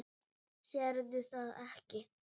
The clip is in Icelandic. Sérð það ekki.